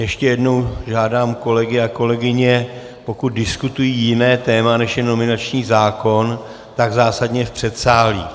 Ještě jednou žádám kolegy a kolegyně, pokud diskutují jiné téma, než je nominační zákon, tak zásadně v předsálí.